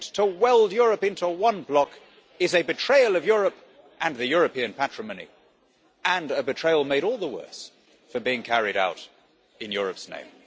attempt to weld Europe into one block is a betrayal of Europe and the European patrimony, and a betrayal made all the worse for being carried out in Europe's name.'